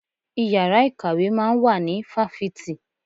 Ìyára ìkàwé máa ń wà ní fáfitì.